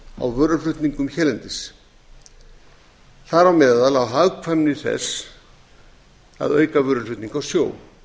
á vöruflutningum hérlendis þar á meðal á hagkvæmni þess að auka vöruflutninga á sjó